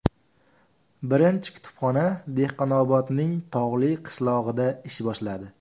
Birinchi kutubxona Dehqonobodning tog‘li qishlog‘ida ish boshladi.